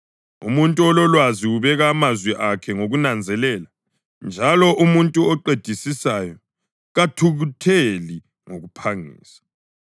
Umuntu ololwazi ubeka amazwi akhe ngokunanzelela, njalo umuntu oqedisisayo kathukutheli ngokuphangisa.